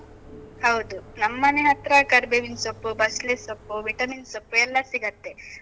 ಹೌದು. ನಮ್ಮನೆ ಹತ್ರ ಕರಿಬೇವಿನ್ ಸೊಪ್ಪು, ಬಸ್ಳೆ ಸೊಪ್ಪು, vitamin ಸೊಪ್ಪು ಎಲ್ಲ ಸಿಗತ್ತೆ.